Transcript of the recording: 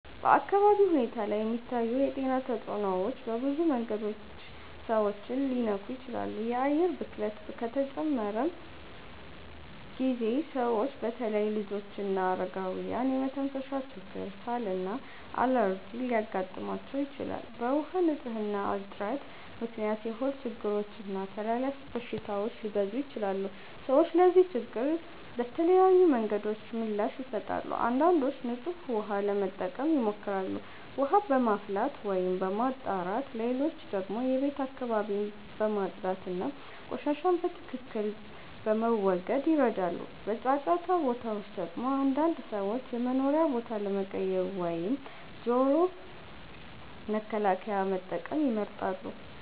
በአካባቢ ሁኔታ ላይ የሚታዩ የጤና ተጽዕኖዎች በብዙ መንገዶች ሰዎችን ሊነኩ ይችላሉ። የአየር ብክለት ከተጨመረ ጊዜ ሰዎች በተለይ ልጆችና አረጋውያን የመተንፈሻ ችግር፣ ሳል እና አለርጂ ሊያጋጥማቸው ይችላል። በውሃ ንፅህና እጥረት ምክንያት የሆድ ችግሮች እና ተላላፊ በሽታዎች ሊበዙ ይችላሉ። ሰዎች ለዚህ ችግር በተለያዩ መንገዶች ምላሽ ይሰጣሉ። አንዳንዶች ንጹህ ውሃ ለመጠቀም ይሞክራሉ፣ ውሃ በማፍላት ወይም በማጣራት። ሌሎች ደግሞ የቤት አካባቢን በማጽዳት እና ቆሻሻን በትክክል በመወገድ ይረዳሉ። በጫጫታ ቦታዎች ደግሞ አንዳንድ ሰዎች የመኖሪያ ቦታ ለመቀየር ወይም ጆሮ መከላከያ መጠቀም ይመርጣሉ።